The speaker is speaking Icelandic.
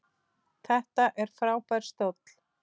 Þetta er frábær stóll.